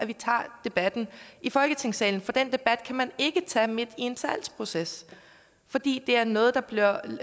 vi tager debatten i folketingssalen for den debat kan man ikke tage midt i en salgsproces fordi det er noget der bliver